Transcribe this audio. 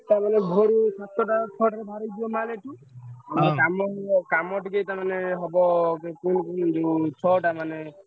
ଆଠଟାବେଳେ ଭୋରୁ ସାତ ଟା ଛଅ ଟା ବେଲେ ଯିବ mall ଏଠୁ କାମ ଟିକେ ତାମନେ ହବ ଛଅଟା ମାନେ।